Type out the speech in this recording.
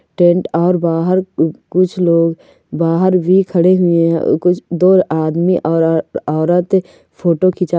tent और बाहर कूछ लोग बाहर भी खड़ी हुए है कूछ दो आदमी औरत फोटो खींचा--